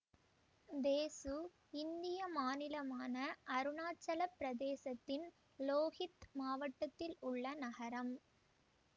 தேசு இந்திய மாநிலமான அருணாச்சலப் பிரதேசத்தின் லோஹித் மாவட்டத்தில் உள்ள நகரம்